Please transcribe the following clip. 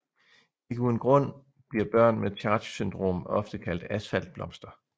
Ikke uden grund bliver børn med CHARGE syndrom ofte kaldt asfaltblomster